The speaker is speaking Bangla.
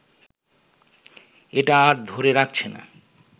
এটা আর ধরে রাখছে না